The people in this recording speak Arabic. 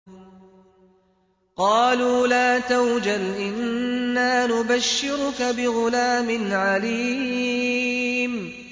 قَالُوا لَا تَوْجَلْ إِنَّا نُبَشِّرُكَ بِغُلَامٍ عَلِيمٍ